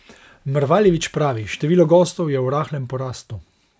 Mrvaljević pravi: 'Število gostov je v rahlem porastu.